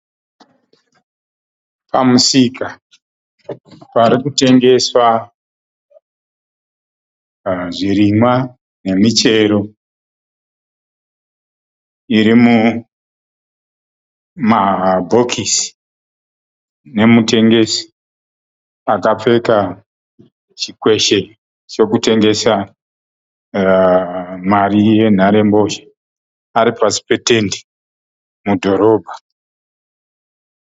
Pamusika parikutengeswa zvirimwa nemichero iri mumabhokisi nemutengesi akapfeka chikweshe chokutengesa mari yenharembozha. Ari pasi petende mudhorobha.